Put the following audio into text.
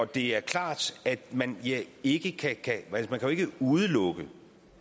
det er klart at man ikke kan udelukke